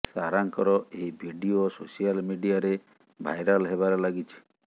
ସାରାଙ୍କର ଏହି video social ମିଡିଆରେ viral ହେବାରେ ଲାଗିଛି